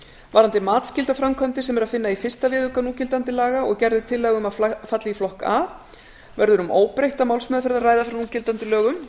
varðandi matsskyldar framkvæmdir sem er að finna í fyrsta viðauka núgildandi laga og gerð er tillaga um að falli í flokk a verður um óbreytta málsmeðferð að ræða frá núgildandi lögum